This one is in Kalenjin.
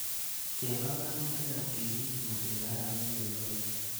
Istee panganutikap keriip suswek arawet nenyone.